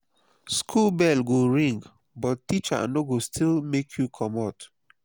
school bell go ring but teacher no go gree make you comot.